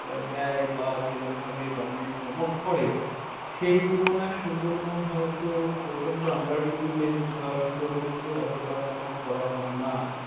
দেয়, বা যেমন ভাবে government promote করে, সেই তুলনায় সুন্দরবন হয়ত প্রচণ্ড underprivileged বা সুন্দরবন কে ওতটা promote করা হয়না।